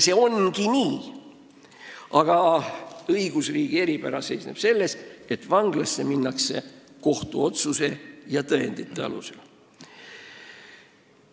" See ongi nii, aga õigusriigi eripära seisneb selles, et vanglasse minnakse kohtuotsuse ja tõendite alusel.